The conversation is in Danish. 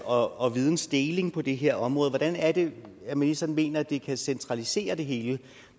og og vidensdeling på det her område hvordan er det ministeren mener at det kan centralisere det hele